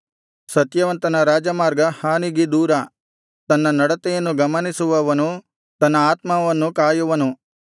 ಸತ್ಯವಂತನ ರಾಜಮಾರ್ಗ ಹಾನಿಗೆ ದೂರ ತನ್ನ ನಡತೆಯನ್ನು ಗಮನಿಸುವವನು ತನ್ನ ಆತ್ಮವನ್ನು ಕಾಯುವನು